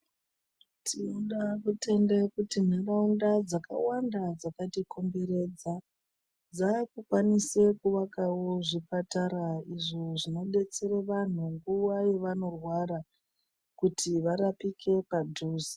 Tinoda kutende kuti nharaunda dzakawanda dzakati komberedza dzaku kwanise kuvakawo zvipatara izvo zvino detsera vantu nguva yavano rwara kuti varapike padhuze.